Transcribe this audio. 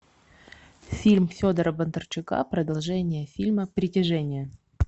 фильм федора бондарчука продолжение фильма притяжение